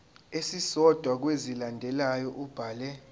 esisodwa kwezilandelayo ubhale